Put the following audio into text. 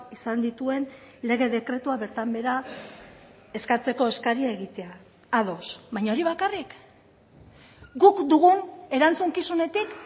izan dituen lege dekretua bertan behera eskatzeko eskaria egitea ados baina hori bakarrik guk dugun erantzukizunetik